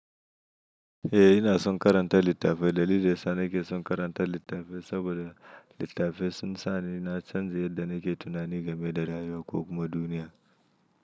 Eh ina son karanta littafai. Dalilin da yasa nake son karanta littafai saboda littafai sun sa ni na canza yadda nake tunani game da rayuwa ko kuma duniya.